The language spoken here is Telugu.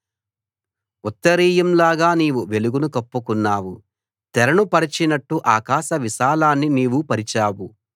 ఉత్తరీయం లాగా నీవు వెలుగును కప్పుకున్నావు తెరను పరచినట్టు ఆకాశ విశాలాన్ని నీవు పరిచావు